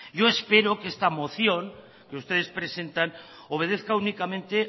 yo espero que esa moción que ustedes presentan obedezca únicamente